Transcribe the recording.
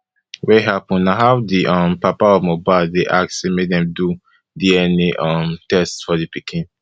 wey happun na how di um papa of mohbad dey ask say make dem do dna um test for di pikin